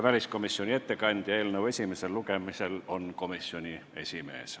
Väliskomisjoni ettekandjaks eelnõu esimesel lugemisel määrati komisjoni esimees.